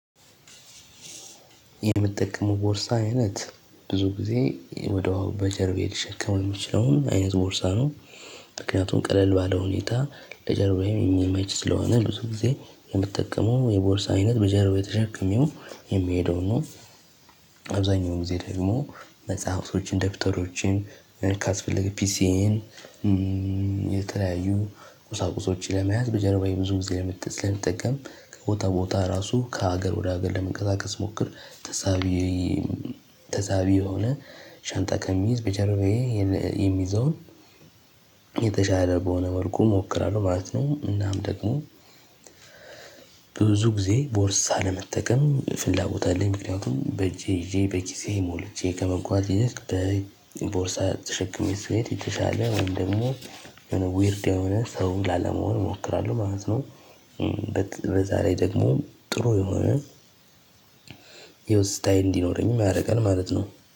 የምትጠቀመው ቦርሳ አይነት ብዙ ጊዜ ወዳው በጀርቤ ልሸከም የምችለውን አይነት ቦርሳ ነው። ምክንያቱም ቀለል ባለ ሁኔታ ለጀርባዬም የሚመች ስለሆነ ብዙ ጊዜ የምጠቀመው የቦርሳ አይነት በጀርባዬ ተሸክሜው የሚሄደውን ነው። አብዛኛው ጊዜ ደግሞ መጽሐፍቶችን ደብተሮችን ካስፈለገ ፒሲዬን የተለያዩ ቁሳቁሶችን ለመያዝ በጀርባዬ ብዙ ጊዜ ስለመጠቀም ከቦታ ቦታ ራሱ ከሀገር ወደ ሀገር ለመንቀሳቀስ ስሞክር ተሳቢ ተሳቢ የሆነ ሻንጣ ከምይዝ በጀርባዬ የሚይዘውን የተሻለ በሆነ መልኩ እሞክራለሁ ማለት ነው። እናም ደግሞ ብዙ ጊዜ ቦርሳ ለመጠቀም ፍላጎት አለኝ ምክንያቱም በእጄ ይዤ በኪሴ ሞልቼ ከመጓዝ ይልቅ በቦርሳ ተሸክሜ ስሄድ የተሻለ ወይም ደግሞ የሆነ ዊርድ የሆነ ሰው ላለመሆን እሞክራለሁ ማለት ነው። በዛ ላይ ደግሞ ጥሩ የሆነ እንዲኖረኝም ያደርጋል ማለት ነው